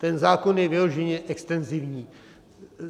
Ten zákon je vyloženě extenzivní.